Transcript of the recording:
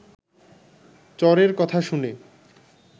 চরের কথা শুনে